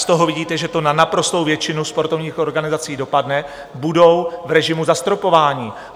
Z toho vidíte, že to na naprostou většinu sportovních organizací dopadne, budou v režimu zastropování.